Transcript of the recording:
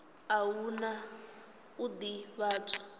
a hu na u ḓivhadzwa